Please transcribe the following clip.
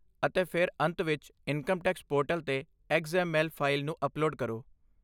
ਅਤੇ ਫਿਰ ਅੰਤ ਵਿੱਚ ਇਨਕਮ ਟੈਕਸ ਪੋਰਟਲ 'ਤੇ ਐਕਸ ਐਮ ਐਲ ਫਾਈਲ ਨੂੰ ਅਪਲੋਡ ਕਰੋ।